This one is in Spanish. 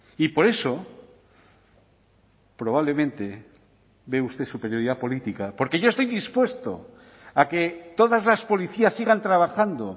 y por eso probablemente ve usted superioridad política porque yo estoy dispuesto a que todas las policías sigan trabajando